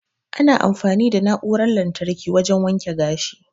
Ana amfani da na'uran lantarki wajan waken gashi